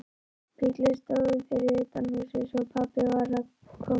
Bíllinn stóð fyrir utan húsið, svo pabbi var kominn heim.